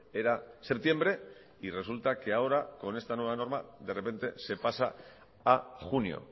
era septiembre y resulta que ahora con esta nueva norma de repente se pasa a junio